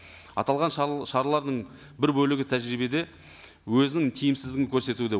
аталған шаралардың бір бөлігі тәжірибеде өзінің тиімсіздігін көрсетуде